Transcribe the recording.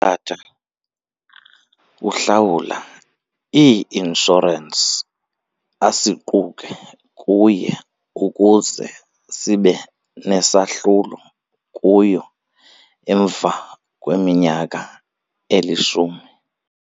Utata uhlawula ii-inshorensi asiquke kuye ukuze sibe nesahlulo kuyo emva kweminyaka elishumi.